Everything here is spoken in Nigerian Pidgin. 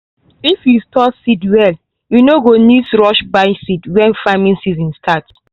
if you store seed well you no go need rush buy seed when farming season start.